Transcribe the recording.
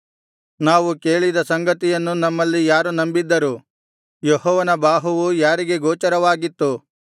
ನಾವು ಕೇಳಿದ ಸಂಗತಿಯನ್ನು ನಮ್ಮಲ್ಲಿ ಯಾರು ನಂಬಿದ್ದರು ಯೆಹೋವನ ಬಾಹುವು ಯಾರಿಗೆ ಗೋಚರವಾಗಿತ್ತು